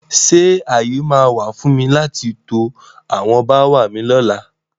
Ṣé ààyè máa wà fún mi láti to àwọn bááwà mi lóla?